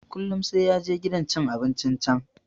Kullum sai ya je gidan cin abincin can.